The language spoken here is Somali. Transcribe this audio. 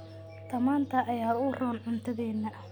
Tamaandhada ayaa u roon cuntadeena.